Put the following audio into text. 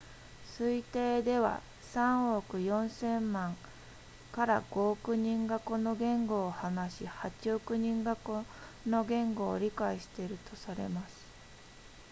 推定では3億4千万 ～5 億人がこの言語を話し8億人がこの言語を理解しているとされます